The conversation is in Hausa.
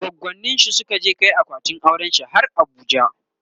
goggoninshi Suka je Kai akwatin aurenshi har abuja